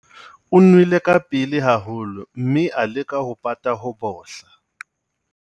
O nwele ka pele haholo mme a leka ho pata ho bohla.